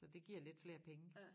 Så det giver lidt flere penge